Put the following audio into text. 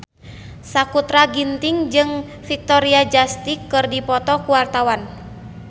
Sakutra Ginting jeung Victoria Justice keur dipoto ku wartawan